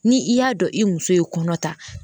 Ni i y'a dɔn i muso ye kɔnɔ ta